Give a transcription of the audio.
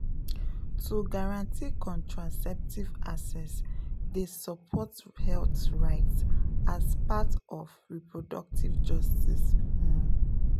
to guarantee contraceptive access dey support health rights as part of reproductive justice pause.